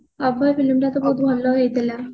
Abhay film ଟା ବହୁତ ଭଲ ହେଇଥିଲା